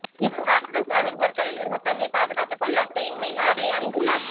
இவர் இராட்சத சுறாவின் பற்களில் இருந்து தன்னை பாதுகாத்து கொள்ள செயின்மெயில் ஆடையை அணிந்துள்ளார்